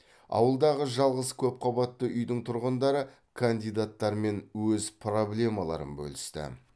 ауылдағы жалғыз көпқабатты үйдің тұрғындары кандидаттармен өз проблемаларын бөлісті